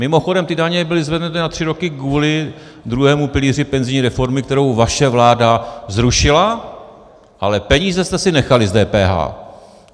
Mimochodem, ty daně byly zvednuty na tři roky kvůli druhému pilíři penzijní reformy, kterou vaše vláda zrušila, ale peníze jste si nechali z DPH.